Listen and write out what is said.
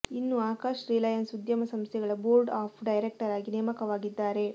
ಇನ್ನು ಅಕಾಶ್ ರಿಲಯನ್ಸ್ ಉದ್ಯಮ ಸಂಸ್ಥೆಗಳ ಬೋರ್ಡ್ ಆಫ್ ಡೈರೆಕ್ಟರ್ ಆಗಿ ನೇಮಕವಾಗಿದ್ದಾರೆ